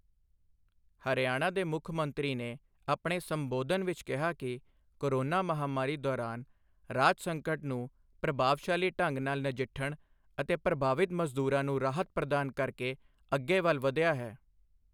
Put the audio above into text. ਹਰਿਆਣਾ ਦੇ ਮੁੱਖ ਮੰਤਰੀ ਨੇ ਆਪਣੇ ਸੰਬੋਧਨ ਵਿੱਚ ਕਿਹਾ ਕਿ ਕੋਰੋਨਾ ਮਹਾਮਾਰੀ ਦੌਰਾਨ ਰਾਜ ਸੰਕਟ ਨੂੰ ਪ੍ਰਭਾਵਸ਼ਾਲੀ ਢੰਗ ਨਾਲ ਨਜਿੱਠਣ ਅਤੇ ਪ੍ਰਭਾਵਿਤ ਮਜ਼ਦੂਰਾਂ ਨੂੰ ਰਾਹਤ ਪ੍ਰਦਾਨ ਕਰਕੇ ਅੱਗੇ ਵੱਲ ਵਧਿਆ ਹੈ।